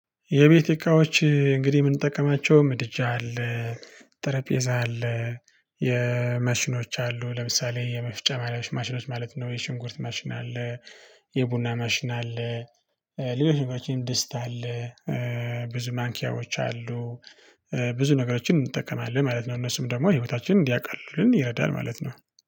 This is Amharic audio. የቤት እቃዎች እንግዲህ እምንጠቀማቸው ምድጃ አለ። ጠረጴዛ አለ የማሽኖች አሉ ለምሳሌ የመፍጫ ማሽኖች ማለት ነው የሽንኩርት ማሽን አለ። የቡና ማሽን አለ። ሌሎች ነገሮች ደስታ አለ። ብዙ ማንኪያዎች አሉ። ብዙ ነገሮችን እንጠቀማለን ማለት ነው እነሱም ደግሞ ህይወታችንን እንዲያቃልሉልን ይረዳል ማለት ነው።